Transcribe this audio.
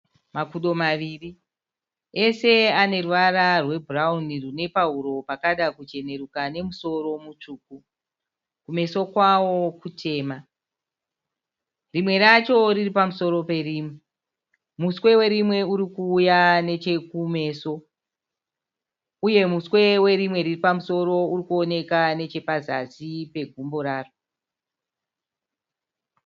Makudo maviri. Ese ane ruvara rwebhurauni rune pahuro pakada kucheneruka nemusoro mutsvuku. Kumeso kwawo kutema. Rimwe racho riri pamusoro perimwe. Muswe werimwe uri kuuya nechekumeso uye muswe werimwe riri pamusoro uri kuoneka nechepazasi pegumbo raro.